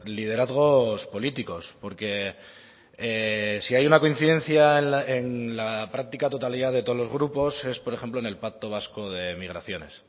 liderazgos políticos porque si hay una coincidencia en la práctica totalidad de todos los grupos es por ejemplo en el pacto vasco de migraciones